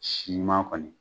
Si ɲuman kɔni